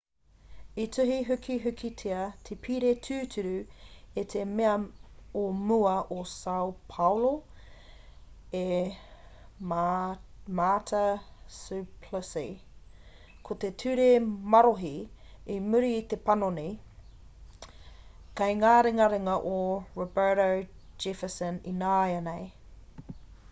i tuhi hukihukitia te pire tūturu e te mea o mua o sao paulo e marta suplicy ko te ture marohi i muri i te panoni kei ngā ringaringa o roberto jefferson ināianei